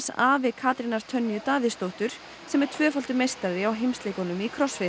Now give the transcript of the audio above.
afi Katrínar Tönju Davíðsdóttur sem er tvöfaldur meistari á heimsleikunum í